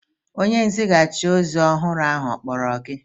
Onye nzighachi ozi ọhụrụ ahụ ọ kpọrọ gị?